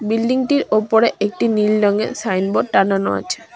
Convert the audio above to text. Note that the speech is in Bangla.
বিল্ডিং -টির ওপরে একটি নীল রঙের সাইনবোর্ড টানানো আছে।